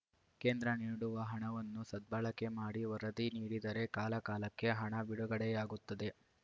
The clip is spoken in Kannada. ಕೇಂದ್ರ ನೀಡುವ ಹಣವನ್ನು ಸದ್ಬಳಕೆ ಮಾಡಿ ವರದಿ ನೀಡಿದರೆ ಕಾಲ ಕಾಲಕ್ಕೆ ಹಣ ಬಿಡುಗಡೆಯಾಗುತ್ತದೆ